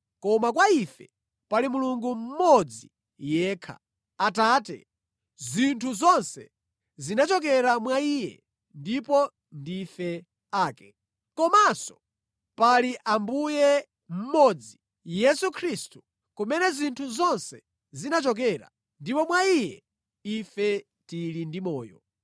koma kwa ife pali Mulungu mmodzi yekha, Atate, zinthu zonse zinachokera mwa Iye ndipo ndife ake. Komanso pali Ambuye mmodzi Yesu Khristu kumene zinthu zonse zinachokera ndipo mwa Iye ife tili ndi moyo.